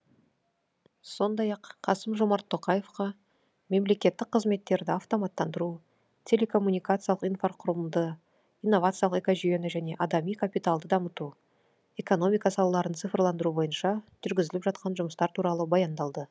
сондай ақ қасым жомарт тоқаевқа мемлекеттік қызметтерді автоматтандыру телекоммуникациялық инфрақұрылымды инновациялық экожүйені және адами капиталды дамыту экономика салаларын цифрландыру бойынша жүргізіліп жатқан жұмыстар туралы баяндалды